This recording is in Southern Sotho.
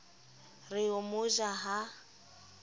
re o mo ja a